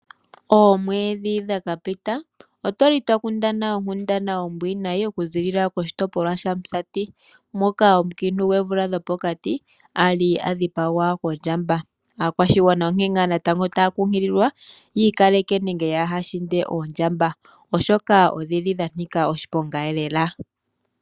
Oomwedhi dhakapita otwali twakundana onkundana ombwiinayi oku ziilila koshitopolwa shamusati, moka omukiintu gwoomvula dhopokati ali adhipagwa kondjamba, aakwashigwana onkee ngaa natango taa kunkililwa yikaleke nenge yahashinde oondjamba, oshoka odhili dhanika oshiponga lela.